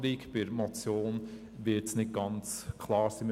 Bei einer Motion wird das Ergebnis nicht ganz klar sein.